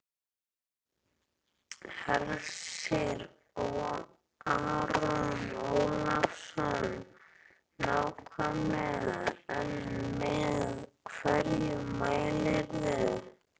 Hersir Aron Ólafsson: Nákvæmlega en með hverju mælirðu?